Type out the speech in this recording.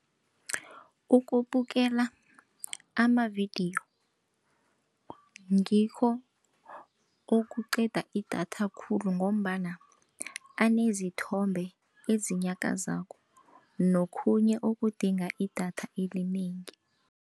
Ukubukela amavidiyo ngikho okuqeda idatha khulu ngombana anezithombe ezinyakazako nokhunye okudinga idatha elinengi.